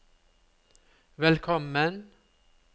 velkommen